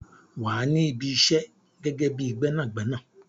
Wà á ní Ibi isẹ́ gẹ́gẹ́ bíi Gbẹ́nàgbẹ́nà.